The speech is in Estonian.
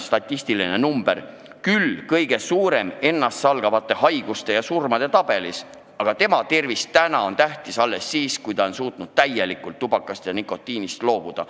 Suitsetajaid märgib suur statistiline number ennasthävitavate haiguste ja surmade tabelis, aga suitsetaja tervis on tähtis alles siis, kui ta on suutnud täielikult tubakast ja nikotiinist loobuda.